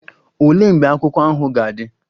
Olee mgbe akwụkwọ ahụ ga-adị?